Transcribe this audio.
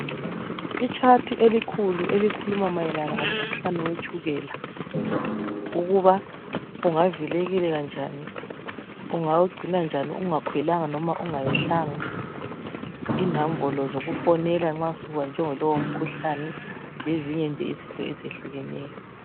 I chat elikhulu elikhuluma mayelana ngomkhuhlane wetshukela ukuba ungavikeleka njani , ungawugcina njani ungakhwelanga noma ungayehlanga , inombolo zokufonela nxa subanjwe ngolowo mkhuhlane lezinye nje izinto ezehlukeneyo